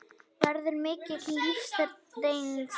Verður mikil lífsreynsla